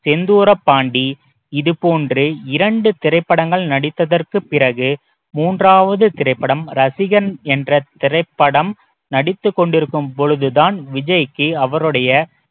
செந்தூரப்பாண்டி இது போன்று இரண்டு திரைப்படங்கள் நடித்ததற்கு பிறகு மூன்றாவது திரைப்படம் ரசிகன் என்ற திரைப்படம் நடித்துக் கொண்டிருக்கும் பொழுதுதான் விஜய்க்கு அவருடைய